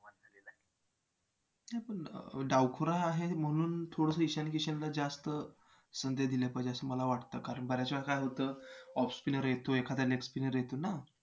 नाही पण डावखुरा आहे म्हणून थोडसं ईशान किशनला जास्त संधी दिली पाहिजे असं मला वाटतं कारण बऱ्याच वेळेला काय होतं off spinner येतो एखादा leg spinner येतो ना